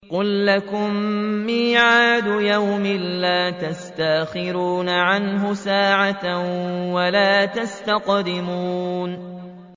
قُل لَّكُم مِّيعَادُ يَوْمٍ لَّا تَسْتَأْخِرُونَ عَنْهُ سَاعَةً وَلَا تَسْتَقْدِمُونَ